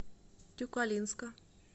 тюкалинска